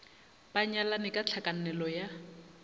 ba nyalane ka tlhakanelo ya